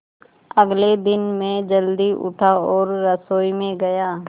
अगले दिन मैं जल्दी उठा और रसोई में गया